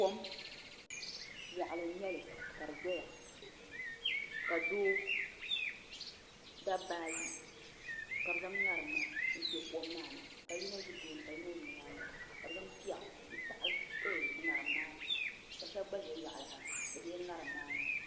Kom moɣali n nyɛli ka di doya ka dabba ayi ka bi zaŋ ŋarim maa n kpɛ kom maa ni ka yino ʒi tooni ka yino ʒi nyaanga ka bi zaŋ piɛɣu n tahali ŋarim maa ni ka shab gba ʒɛ yaɣali ha di taɣala ŋarim maa ni